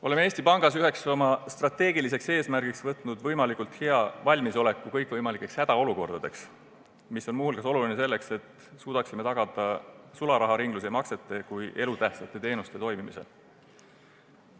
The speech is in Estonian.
Oleme Eesti Pangas üheks oma strateegiliseks eesmärgiks seadnud saavutada võimalikult hea valmisolek kõikvõimalikeks hädaolukordadeks, mis on muu hulgas oluline selleks, et suudaksime tagada sularaharingluse ja maksete kui elutähtsate teenuste toimimise.